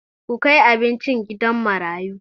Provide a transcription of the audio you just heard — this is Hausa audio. Ku kai abincin gidan marayu!